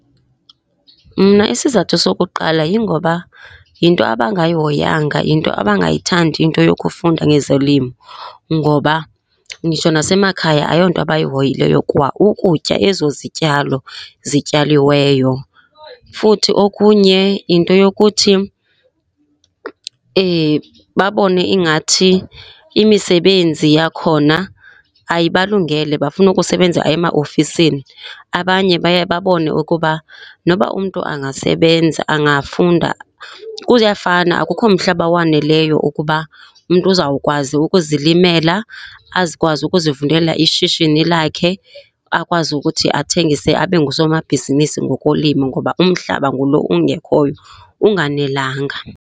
Mna isizathu sokuqala yingoba yinto abangayihoyanga, yinto abangayithandi into yokufunda ngezolimo ngoba nditsho nasemakhaya ayonto abayihoyileyo kwa ukutya ezo zityalo zityaliweyo. Futhi okunye yinto yokuthi babone ingathi imisebenzi yakhona ayibalungele, bafuna ukusebenza ema ofisini. Abanye baye babone ukuba noba umntu angasebenza, angafunda, kuyafana. Akukho mhlaba waneleyo ukuba umntu uzawukwazi ukuzilimela azokwazi ukuzivulela ishishini lakhe, akwazi ukuthi athengise abe ngusomabhizinisi ngokulima, ngoba umhlaba ngulo ungekhoyo unganelenga.